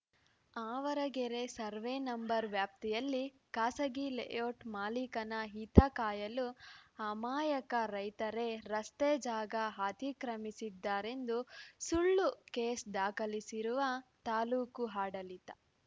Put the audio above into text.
Avaragere survey number ವ್ಯಾಪ್ತಿಯಲ್ಲಿ ಖಾಸಗಿ layout ಮಾಲೀಕನ ಹಿತ ಕಾಯಲು ಅಮಾಯಕ ರೈತರೇ ರಸ್ತೆ ಜಾಗ ಅತಿಕ್ರಮಿಸಿದ್ದಾರೆಂದು ಸುಳ್ಳು ಕೇಸ್‌ ದಾಖಲಿಸಿರುವ ತಾಲೂಕು ಆಡಳಿತ